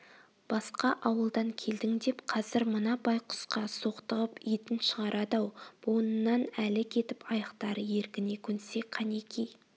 басқа ауылдан келдің деп қазір мына байқұсқа соқтығып итін шығарады-ау буынынан әлі кетіп аяқтары еркіне көнсе қанеки